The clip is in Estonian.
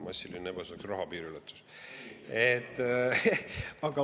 "Massiline ebaseaduslik raha piiriületus"?